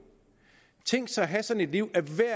tænk at have sådan et liv